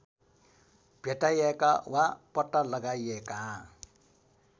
भेटाइएका वा पत्ता लगाइएका